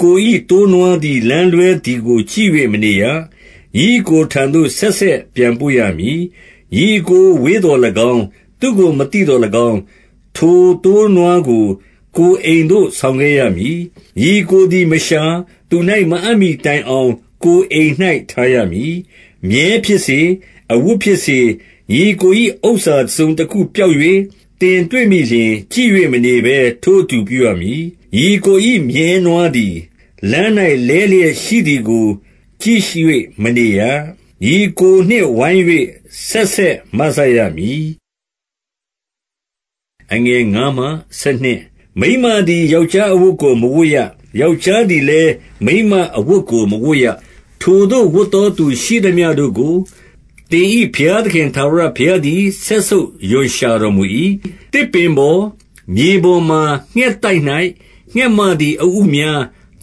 ကို၏ သိုးနွားသည် လမ်းလွဲသည်ကို ကြည့်၍မနေရ။ ညီအစ်ကိုထံသို့ ဆက်ဆက်ပြန်ပို့ရမည်။ 2 ညီအစ်ကို ဝေးသော်၎င်း၊ သူ့ကို မသိသော်၎င်း၊ ထိုသိုးနွားကို ကိုယ်အိမ်သို့ ဆောင်ခဲ့ရမည်။ ညီအစ်ကို သည်မရှာ၊ သူ၌ မအပ်မှီတိုင်အောင် ကိုယ်အိမ်၌ ထားရ မည်။ 3 မြည်းဖြစ်စေ၊ အဝတ်ဖြစ်စေ၊ ညီအစ်ကို၏ဥစ္စာ တစုံတခုပျောက်၍ သင်တွေ့မိလျှင်၊ ကြည့်၍မနေဘဲ ထိုအတူ ပြုရမည်။ 4 ညီအစ်ကို မြည်းနွားသည် လမ်း၌ လဲလျက်ရှိ သည်ကို ကြည့်၍မနေရ။ ညီအစ်ကိုနှင့်ဝိုင်း၍ ဆက်ဆက် မစရမည်။ 5 မိန်းမသည် ယောက်ျားအဝတ်ကို မဝတ်ရ။ ယောက်ျားသည်လည်း မိန်းမအဝတ်ကို မဝတ်ရ။ ထိုသို့ ဝတ်သောသူရှိသမျှတို့ကို သင်၏ဘုရားသခင် ထာဝရ ဘုရားသည် စက်ဆုပ်ရွံ့ရှာတော်မူ၏။ 6 သစ်ပင်ပေါ် မြေပေါ်မှာ ငှက်သိုက်၌ ငှက်မ သည် အဥများ၊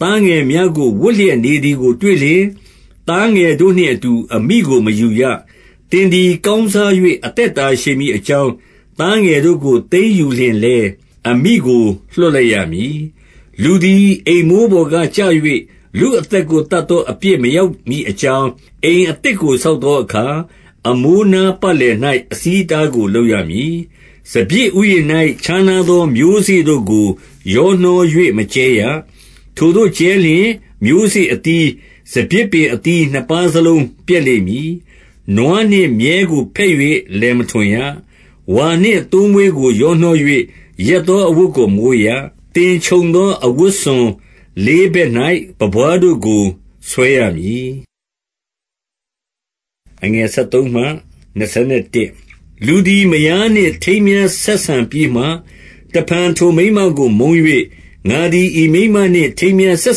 သားငယ်များကို ဝပ်လျက် နေသည်ကို တွေ့လျှင်၊ သားငယ်တို့နှင့်အတူ အမိကိုမယူရ။ 7 သင်သည် ကောင်းစား၍ အသက်တာရှည်မည် အကြောင်း၊ သားငယ်တို့ကို သိမ်းယူလျှင်လည်း အမိကို လွှတ်လိုက်ရမည်။ 8 လူသည် အိမ်မိုးပေါ်ကကျ၍ လူအသက်ကို သတ်သော အပြစ်မရောက်မည်အကြောင်း၊ အိမ်အသစ် ကို ဆောက်သောအခါ၊ အမိုးနားပတ်လည်၌ အဆီးအ တားကို လုပ်ရမည်။ 9 စပျစ်ဥယျာဉ်၌ ခြားနားသော မျိုးစေ့တို့ကို ရောနှော၍ မကြဲရ။ ထိုသို့ကြဲလျှင်၊ မျိုးစေ့အသီး၊ စပျစ်ပင် အသီး နှစ်ပါးစလုံး ပျက်လိမ့်မည်။ 10 နွားနှင့် မြည်းကို ဘက်၍ လယ်မထွန်ရ။ 11 ဝါနှင့်သိုးမွေးကို ရောနှော၍ ရက်သောအဝတ် ကို မဝတ်ရ။ 12 သင်ခြုံသောအဝတ်စွန် လေးဘက်၌ ပန်းပွားတို့ ကို ဆွဲရမည်။ 13 လူသည် မယားနှင့်ထိမ်းမြားဆက်ဆံပြီးမှ၊ တဖန် ထိုမိန်းမကို မုန်း၍၊ 14 ငါသည် ဤမိန်းမနှင့် ထိမ်းမြားဆက်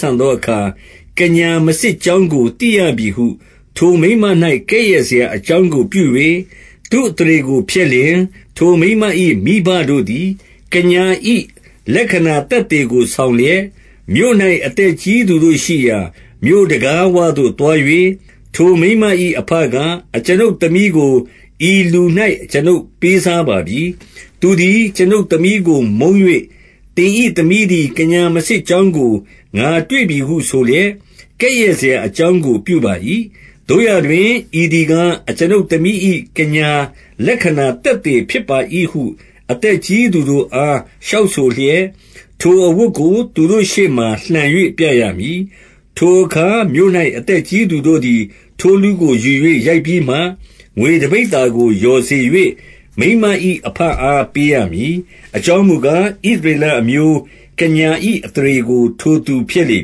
ဆံသော အခါ၊ ကညာမစစ်ကြောင်းကို သိရပြီဟု ထိုမိန်းမ၌ ကဲ့ရဲ့စရာအကြောင်းကို ပြု၍ သူ့အသရေကို ဖျက်လျှင်၊ 15 ထိုမိန်းမ၏ မိဘတို့သည် ကညာ၏ လက္ခဏာ သက်သေကို ဆောင်လျက်၊ မြို့၌ အသက်ကြီးသူတို့ရှိရာ မြို့တံခါးဝသို့ သွား၍၊ 16 ထိုမိန်းမ၏အဘက၊ အကျွန်ုပ်သမီးကို ဤလူ၌ အကျွန်ုပ်ပေးစားပါပြီ။ သူသည် အကျွန်ုပ်သမီးကို မုန်း၍၊ 17 သင်၏သမီးသည် ကညာမစစ်ကြောင်းကို ငါတွေ့ပြီဟု ဆိုလျက် ကဲ့ရဲ့စရာအကြောင်းကို ပြုပါ၏။ သို့ရာတွင် ဤသည်ကား၊ အကျွန်ုပ်သမီး၏ ကညာ လက္ခဏာ သက်သေဖြစ်ပါ၏ဟု အသက်ကြီးသူတို့အား လျှောက်ဆိုလျက် ထိုအဝတ်ကို သူတို့ရှေ့မှာလှန်၍ ပြရမည်။ 18 ထိုအခါ မြို့၌ အသက်ကြီးသူတို့သည် ထိုလူကို ယူ၍ ရိုက်ပြီးမှ၊ 19 ငွေတပိဿာကို လျော်စေ၍၊ မိန်းမ၏ အဘ အား ပေးရမည်။ အကြောင်းမူကား၊ ဣသရေလအမျိုး ကညာ၏ အသရေကို ထိုသူဖျက်လေ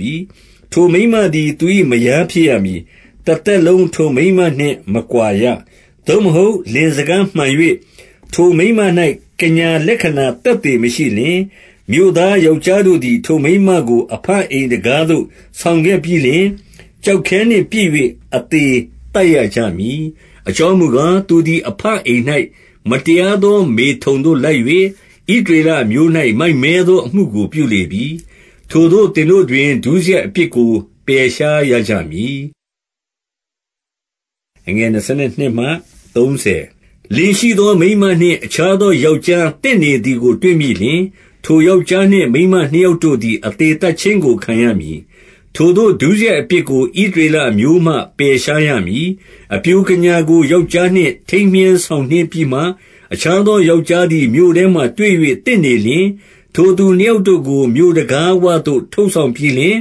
ပြီ။ ထိုမိန်းမသည် သူ၏မယားဖြစ်ရမည်။ တသက်လုံး ထိုမိန်းမနှင့်မကွာရ။ 20 သို့မဟုတ် လင်စကားမှန်၍၊ ထိုမိန်းမ၌ ကညာ လက္ခဏာသက်သေ မရှိလျှင်၊ 21 မြို့သားယောက်ျားတို့သည် ထိုမိန်းမကို အဘ အိမ်တံခါးသို့ ဆောင်ခဲ့ပြီးလျှင် ကျောက်ခဲနှင့်ပစ်၍ အသေသတ်ရကြမည်။ အကြောင်းမူကား၊ သူသည် အဘ အိမ်၌ မတရားသော မေထုန်သို့လိုက်၍ ဣသရေလ အမျိုး၌ မိုက်မဲသောအမှုကို ပြုလေပြီ။ ထိုသို့ သင်တို့တွင် ဒုစရိုက်အပြစ်ကို ပယ်ရှားရကြမည်။ 22 လင်ရှိသောမိန်းမနှင့် အခြားသောယောက်ျား သင့်နေသည်ကို တွေ့မိလျှင်၊ ထိုယောက်ျားနှင့် မိန်းမ နှစ်ယောက်တို့သည် အသေသတ်ခြင်းကို ခံရမည်။ ထိုသို့ ဒုစရိုက်အပြစ်ကို ဣသရေလအမျိုးမှ ပယ်ရှားရမည်။ 23 အပျိုကညာကို ယောက်ျားနှင့် ထိမ်းမြားဆောင် နှင်းပြီးမှ၊ အခြားသောယောက်ျားသည် မြို့ထဲမှာတွေ့၍ သင့်နေလျှင်၊ 24 ထိုသူနှစ်ယောက်တို့ကို မြို့တံခါးဝသို့ ထုတ်ဆောင် ပြီးလျှင်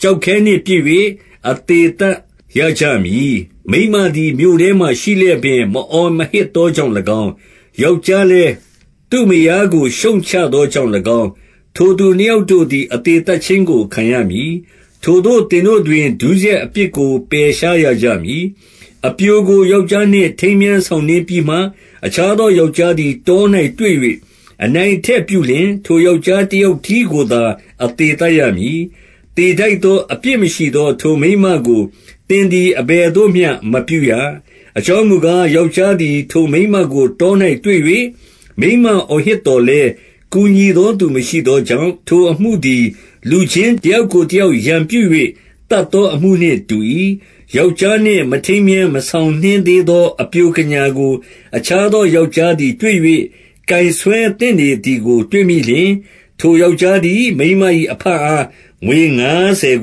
ကျောက်ခဲနှင့်ပစ်၍ အသေသတ်ရကြမည်။ မိန်းမသည် မြို့ထဲမှာ ရှိလျက်ပင် မအော်မဟစ်သော ကြောင့်၎င်း၊ ယောက်ျားလည်း သူ့မယားကို ရှုတ်ချသော ကြောင့်၎င်း၊ ထိုသူနှစ်ယောက်တို့သည် အသေသတ်ခြင်း ကို ခံရမည်။ ထိုသို့ သင်တို့တွင် ဒုစရိုက်အပြစ်ကို ပယ်ရှား ရကြမည်။ 25 အပျိုကို ယောက်ျားနှင့် ထိမ်းမြားဆောင်နှင်းပြီး မှ အခြားသော ယောက်ျားသည် တော၌ တွေ့၍ အနိုင် အထက်ပြုလျှင်၊ ထိုယောက်ျား တယောက်တည်းကိုသာ အသေသတ်ရမည်။ 26 သေထိုက်သော အပြစ်မရှိသော ထိုမိန်းမကို သင်သည် အဘယ်သို့မျှ မပြုရ။ 27 အကြောင်းမူကား၊ ယောက်ျားသည် ထိုမိန်းမကို တော၌တွေ့၍ မိန်းမအော်ဟစ်သော်လည်း ကူညီသောသူ မရှိသောကြောင့်၊ ထိုအမှုသည် လူချင်းတယောက်ကို တယောက် ရန်ပြု၍ သတ်သောအမှုနှင့်တူ၏။ 28 ယောက်ျားနှင့် မထိမ်းမြား မဆောင်နှင်းသေး သော အပျိုကညာကို အခြားသောယောက်ျားသည် တွေ့၍ ကိုင်ဆွဲသင့်နေသည်ကို တွေ့မိလျှင်၊ 29 ထိုယောက်ျားသည် မိန်းမ၏ အဘအား ငွေ ငါးဆယ်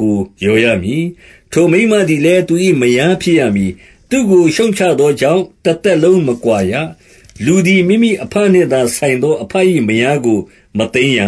ကို လျော်ရမည်။ ထိုမိန်းမသည်လည်း သူ၏ မယားဖြစ်ရမည်။ သူ့ကို ရှုတ်ချသောကြောင့် တသက်လုံး မကွာရ။ 30 လူသည် မိမိအဘနှင့်သာဆိုင်သော အဘ၏ မယားကို မသိမ်းရ